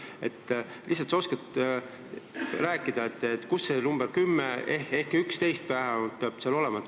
Äkki sa oskad rääkida, kust tuleb see rohkem kui 10 ehk vähemalt 11 inimest, mis seal peab olema.